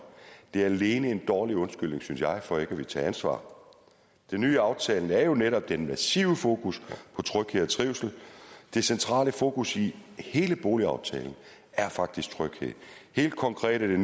det er alene en dårlig undskyldning synes jeg for ikke at ville tage ansvar det nye i aftalen er jo netop den massive fokus på tryghed og trivsel det centrale fokus i hele boligaftalen er faktisk tryghed helt konkret er det